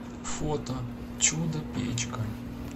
фото чудо печка